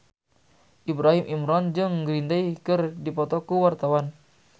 Ibrahim Imran jeung Green Day keur dipoto ku wartawan